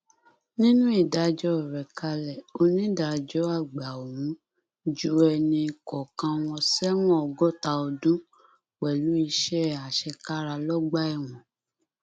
nínú ìdájọ rẹ kalẹ onídàájọ àgbà ọhún ju ẹnì kọọkan wọn sẹwọn ọgọta ọdún pẹlú iṣẹ àṣekára lọgbà ẹwọn